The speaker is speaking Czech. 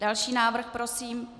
Další návrh prosím.